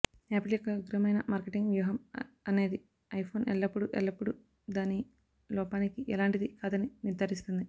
apple యొక్క ఉగ్రమైన marketing వ్యూహం అనేది ఐఫోన్ ఎల్లప్పుడూ ఎల్లప్పుడు దాని లోపానికి ఎలాంటిది కాదని నిర్ధారిస్తుంది